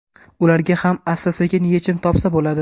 Ularga ham asta-sekin yechim topsa bo‘ladi.